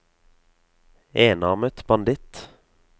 enarmet banditt